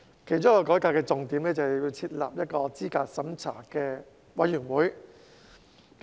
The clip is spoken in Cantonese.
其中一個改革重點是設立候選人資格審查委員會。